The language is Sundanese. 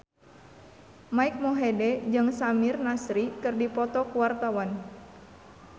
Mike Mohede jeung Samir Nasri keur dipoto ku wartawan